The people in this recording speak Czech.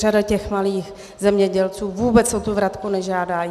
Řada těch malých zemědělců vůbec o tu vratku nežádá.